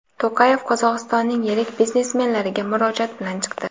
To‘qayev Qozog‘istonning yirik biznesmenlariga murojaat bilan chiqdi.